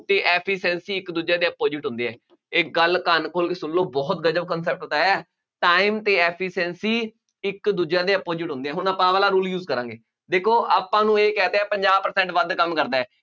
ਅਤੇ efficiency ਇੱਕ ਦੂਜੇ ਦੇ opposite ਹੁੰਦੇ ਹੈ, ਇਹ ਗੱਲ ਕੰਨ ਖੋਲ੍ਹ ਕੇ ਸੁਣ ਲਉ, ਬਹੁਤ ਗਜ਼ਬ concept ਸਿਖਾਇਆ, time ਅਤੇ efficiency ਇੱਕ ਦੂਜੇ ਦੇ opposite ਹੁੰਦੇ ਹੈ, ਹੁਣ ਆਪਾਂ ਆਹ ਵਾਲਾ rule use ਕਰਾਂਗੇ, ਦੇਖੋ ਆਪਾਂ ਨੂੰ ਇਹ ਕਹਿ ਦਿੱਤਾ ਪੰਜਾਹ percent ਵੱਧ ਕੰਮ ਕਰਦਾ ਹੈ